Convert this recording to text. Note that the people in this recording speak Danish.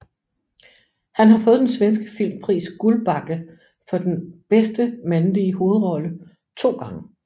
Han har fået den svenske filmpris Guldbagge for bedste mandlige hovedrolle to gange